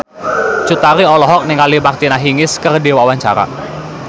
Cut Tari olohok ningali Martina Hingis keur diwawancara